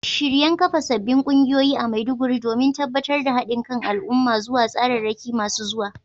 Ana ci gaba da shirye-shiryen kafa sabbin kungiyoyi a Maiduguri, domin tabbatar da hadin kan al’umma zuwa tsararraki masu zuwa.